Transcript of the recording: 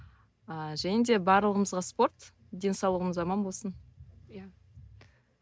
ыыы және де барлығымызға спорт денсаулығымыз аман болсын иә